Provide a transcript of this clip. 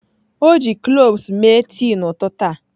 O ji cloves mee tii n'ụtụtụ a.